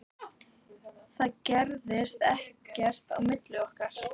Það gerðist ekkert á milli okkar.